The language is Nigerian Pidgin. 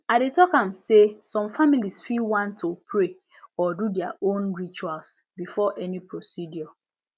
i dey talk say some families fit want to pray or do their own rituals before any procedure